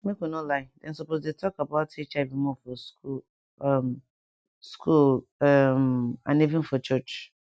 make we no lie dem suppose dey talk about hiv more for school um school um and even for church